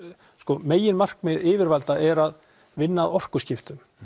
meginmarkmið yfirvalda er að vinna að orkuskiptum